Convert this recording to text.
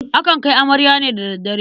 Akan kai amarya ne da daddare.